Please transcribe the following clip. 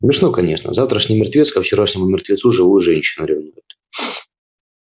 смешно конечно завтрашний мертвец ко вчерашнему мертвецу живую женщину ревнует